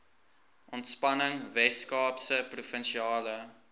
ontspanning weskaapse provinsiale